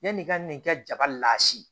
Yann'i ka n'i ka jaba lase